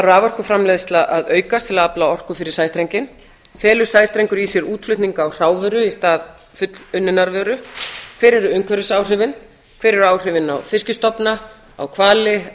raforkuframleiðsla að aukast til að afla orku fyrir sæstrenginn felur sæstrengur í sér útflutning á hrávöru í stað fullunninnar vöru hver eru umhverfisáhrifin hver eru áhrifin á fiskstofna á hvali